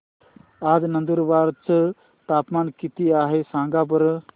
आज नंदुरबार चं तापमान किती आहे सांगा बरं